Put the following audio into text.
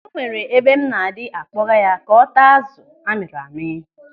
O nwere ebe m na-adị akpoga ya ka ọ taa azụ amịrị amị.